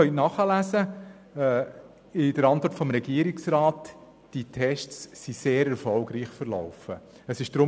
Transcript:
Sie können in der Antwort des Regierungsrats nachlesen, dass die Tests sehr erfolgreich verlaufen sind.